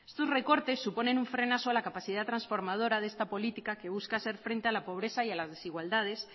estos recortes suponen un frenazo a la capacidad transformadora de esta política que busca hacer frente a la pobreza y a las desigualdades